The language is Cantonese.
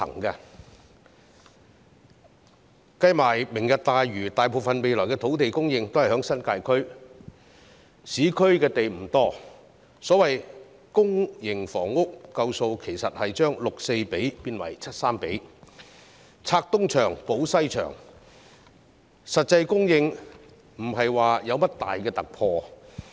算上"明日大嶼"的土地，未來大部分土地供應也是在新界區，市區土地不多，所謂足夠的公營房屋供應，其實只是將 6：4 變成 7：3，" 拆東牆、補西牆"，實際供應沒有甚麼重大突破。